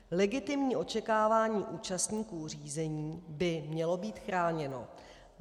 Legitimní očekávání účastníků řízení by mělo být chráněno.